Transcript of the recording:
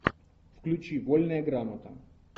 включи вольная грамота